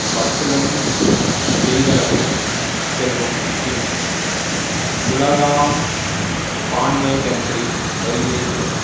பற்றுள்ளஞ் செய்தனது செல்வம் பின் உளதாம் பான்மைத்தன்றி வறிதே கெடும்